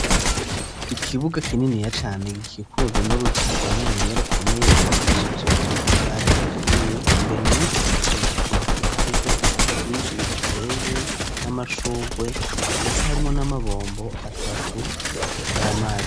Ikibuga kininiya cane ikikuru n'uruzitiro runiniya, rukomeye gubakishije Amatafare aturiye, imbere muriko ruzitiro akaba hari yo ibiti vyinshi bihateye, n'Amashugwe ndetse harimo n'Amabombo atatu y'Amazi